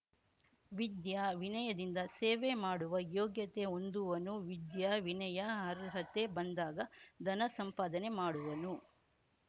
ವಿದ್ಯಾವಿನಯದಿಂದ ಸೇವೆ ಮಾಡುವ ಯೋಗ್ಯತೆ ಹೊಂದುವನು ವಿದ್ಯಾವಿನಯ ಅರ್ಹತೆ ಬಂದಾಗ ಧನ ಸಂಪಾಧನೆ ಮಾಡುವನು